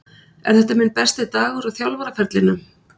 Er þetta minn besti dagur á þjálfaraferlinum?